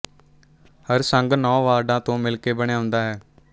ਹਰ ਸੰਘ ਨੌਂ ਵਾਰਡਾ ਤੋਂ ਮਿਲ ਕੇ ਬਣਿਆ ਹੁੰਦਾ ਹੈ